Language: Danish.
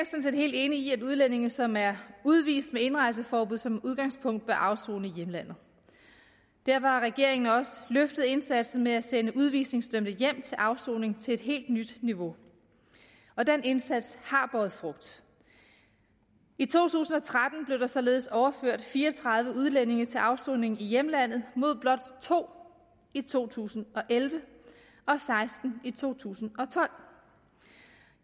set helt enig i at udlændinge som er udvist med indrejseforbud som udgangspunkt bør afsone i hjemlandet derfor har regeringen også løftet indsatsen med at sende udvisningsdømte hjem til afsoning til et helt nyt niveau og den indsats har båret frugt i to tusind og tretten blev der således overført fire og tredive udlændinge til afsoning i hjemlandet mod blot to i to tusind og elleve og seksten i to tusind og tolv